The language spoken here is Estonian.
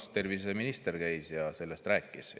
Noh, terviseminister käis siinsamas sellest rääkimas.